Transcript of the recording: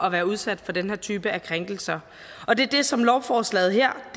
at være udsat for den her type af krænkelser og det er det som lovforslaget her har